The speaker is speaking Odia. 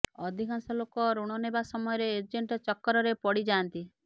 ଅଧିକାଂଶ ଲୋକ ଋଣ ନେବା ସମୟରେ ଏଜେଣ୍ଟ ଚକ୍କରରେ ପଡ଼ିଯାଆନ୍ତି